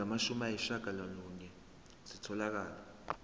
ezingamashumi ayishiyagalolunye zitholakele